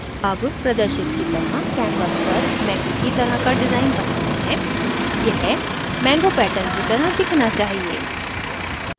अब प्रदर्शित की तरह canvas पर mango की तरह का डिज़ाइन बनाते हैं यह mango pattern की तरह दिखना चाहिए